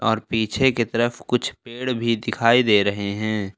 और पीछे की तरफ कुछ पेड़ भी दिखाई दे रहे हैं।